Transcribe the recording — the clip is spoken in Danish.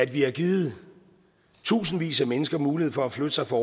vi har givet tusindvis af mennesker mulighed for at flytte sig fra